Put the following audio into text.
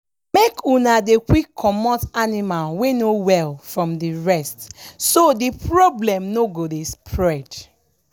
make una dey quick comot animal wey no well from the rest so the problem no go dey spread